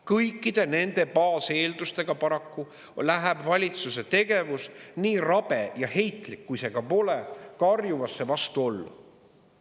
Kõikide nende baaseeldustega paraku läheb valitsuse tegevus, nii rabe ja heitlik, kui see ka pole, karjuvasse vastuollu.